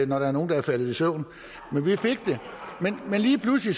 når der er nogle der er faldet i søvn men vi fik det men lige pludselig